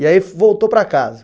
E aí voltou para casa?